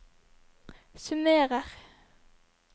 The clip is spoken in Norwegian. summerer